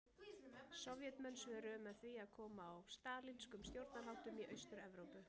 Sovétmenn svöruðu með því að koma á stalínískum stjórnarháttum í Austur-Evrópu.